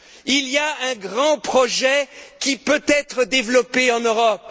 Il y a un grand projet qui peut être développé en Europe.